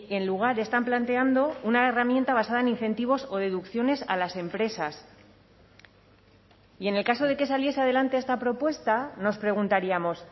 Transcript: en lugar están planteando una herramienta basada en incentivos o deducciones a las empresas y en el caso de que saliese adelante esta propuesta nos preguntaríamos